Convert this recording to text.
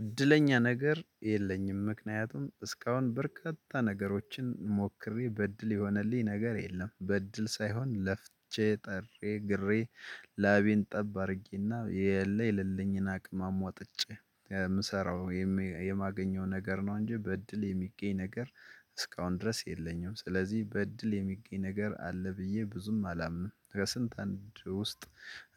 እድለኛ ነገር የለኝም ምክንያቱም እስካሁን በርካታ ነገሮችን ሞክሬ በእድል የሆነልኝ ነገር የለም በእድል ሳይሆን ለፍቼ ጥሬ ግሬ ላቤን ጠብ አድርጌና የለ የለልኝን አቅም አሟጥጬ የምሰራው የማገኘው ነገር ነው እንጂ በእድል የሚገኝ ነገር እስካሁን ድረስ የለኝም። ስለዚህ በእድል የሚገኝ ነገር አለ ብዬ ብዙም አላምንም። ከስንት አንድ ውስጥ